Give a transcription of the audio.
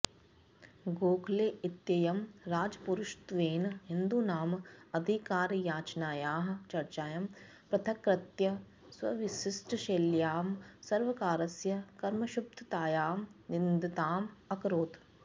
गोखले इत्ययं राजपुरुषत्वेन हिन्दूनाम् अधिकारयाचनायाः चर्चां पृथक्कृत्य स्वविशिष्टशैल्यां सर्वकारस्य कर्मक्षुब्धतायाः निन्दाम् अकरोत्